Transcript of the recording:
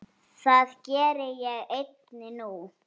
Það geri ég einnig nú.